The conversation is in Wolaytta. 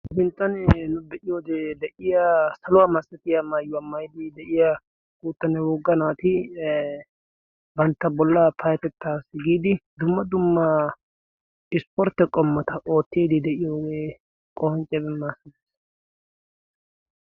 binttanee nu de'iyoodee deiya saluwaa maassatiya maayyuwaa mayiddi de'iya gouttanne wogga naati bantta bollaa paatettaassi giidi dumma dummaa ispportte qommota oottiedi de'iyoogee qohanccebe maassadiis.